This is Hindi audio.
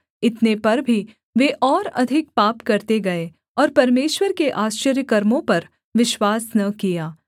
इतने पर भी वे और अधिक पाप करते गए और परमेश्वर के आश्चर्यकर्मों पर विश्वास न किया